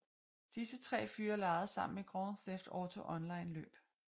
Disse tre fyre legede sammen Grand Theft Auto Online løb